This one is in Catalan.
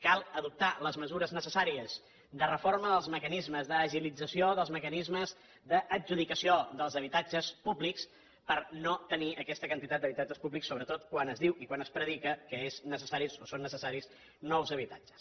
cal adoptar les mesures necessàries de reforma dels mecanismes d’agilització dels mecanismes d’adjudicació dels habitatges públics per no tenir aquesta quantitat d’habitatges públics sobretot quan es diu i quan es predica que és necessari o són necessaris nous habitatges